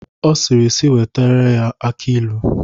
Ọ sịrị sị wetere ya aki ilu.